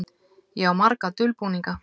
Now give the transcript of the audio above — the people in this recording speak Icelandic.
Ég á marga dulbúninga.